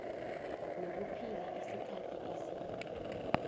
nokuphila isikhathi eside